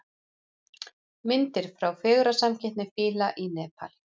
Myndir frá fegurðarsamkeppni fíla í Nepal